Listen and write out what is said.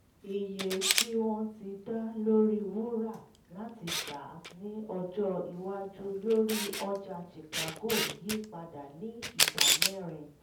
iye tí wọ́n ti dá lórí wúrà láti tà ní ọjọ́ iwájú lórí ọjà chicago yí padà ní ìdámẹ́rin